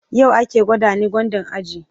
yau ake nada ni gwandan aji